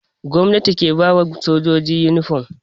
Gomnati ke ba ma sojoji inifom.